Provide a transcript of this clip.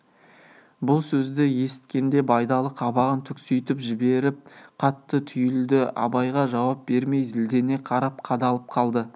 бұл сөзді есіткенде байдалы қабағын түкситіп жіберіп қатты түйілді абайға жауап бермей зілдене қарап қадалып қалды